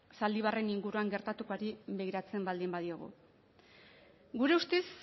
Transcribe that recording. zaldibarren inguruan gertatukoari begiratzen baldin badiogu gure ustez